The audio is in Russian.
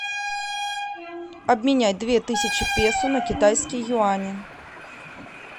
обменять две тысячи песо на китайские юани